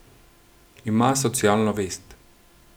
Ima socialno vest.